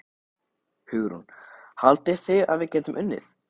Hugrún: Haldið þið að við getum unnið?